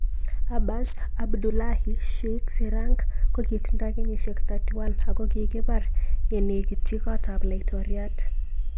Abas Abdullahi Sheikh Sirank kokitindoi kenyishek 31 akokikipar yenekitchi kot ap. Laitoriat.